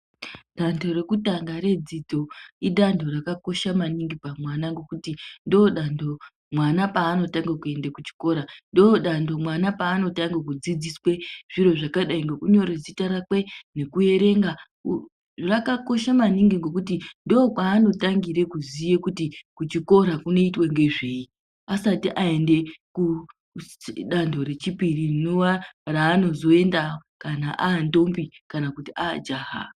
Danto rekutanga redzidzo idanto rakakosha maningi pamwana ngekuti ndodanto mwana paanotange kuenda kuchikora. Ndodanto mwana paanotange kudzidziswe zviro zvakadai ngekunyore zita rakwe ,nekuerenga. Rakakosha maningi ngokuti ndokwanotangire kuziye kuti kuchikora kunoitwa ngezveyi, asati aende kudanto rechipiri rinova raanozoenda kana antombi kana ajaha.